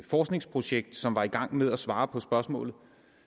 forskningsprojekt som er i gang med et svar på spørgsmålet